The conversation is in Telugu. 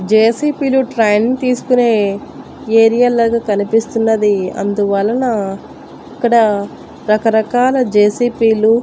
జెసిపి లు ట్రైన్ తీసుకునే ఏరియల్ లాగా కనిపిస్తున్నది అందువలన అక్కడ రకరకాల జెసిపిలు --